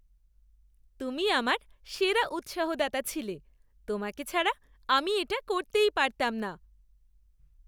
তুমি আমার সেরা উৎসাহদাতা ছিলে! তোমাকে ছাড়া আমি এটা করতেই পারতাম না।